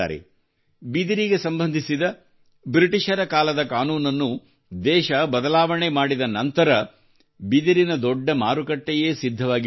ಬಿದಿರಿಗೆ ಸಂಬಂಧಿಸಿದ ಬ್ರಿಟಿಷರ ಕಾಲದ ಕಾನೂನನ್ನು ದೇಶ ಬದಲಾವಣೆ ಮಾಡಿದ ನಂತರ ಬಿದಿರಿನ ದೊಡ್ಡ ಮಾರುಕಟ್ಟೆಯೇ ಸಿದ್ಧವಾಗಿಬಿಟ್ಟಿತು